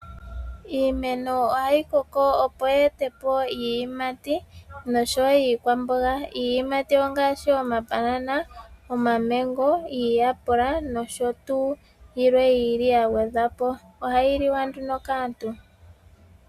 Iimeno ohayi koko opo ye ete po iiyimati noshowo iikwamboga. Iiyamti ongashi omabanana , Omamengo, Omayapula noshotuu yilwe yili ya gwedhwa po ohayi liwa nduno kaantu.